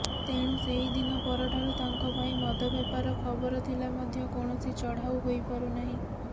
ତେଣୁ ସେହିଦିନ ପରଠାରୁ ତାଙ୍କ ଭାଇ ମଦ ବେପାର ଖବର ଥିଲେ ମଧ୍ୟ କୌଣସି ଚଢାଉ ହୋଇପାରୁନାହିଁ